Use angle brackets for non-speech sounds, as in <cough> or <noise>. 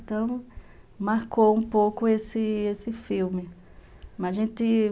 Então, marcou um pouco esse esse filme. <unintelligible>